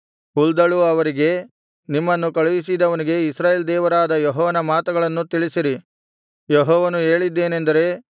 ಹುಲ್ದಳು ಅವರಿಗೆ ನಿಮ್ಮನ್ನು ಕಳುಹಿಸಿದವನಿಗೆ ಇಸ್ರಾಯೇಲ್ ದೇವರಾದ ಯೆಹೋವನ ಮಾತುಗಳನ್ನು ತಿಳಿಸಿರಿ